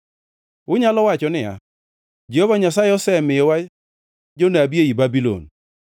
Unyalo wacho niya, “Jehova Nyasaye osemiyowa jonabi ei Babulon,”